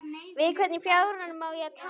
Við hvern í fjáranum á ég að tala?